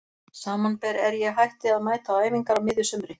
Samanber er ég hætti að mæta á æfingar á miðju sumri.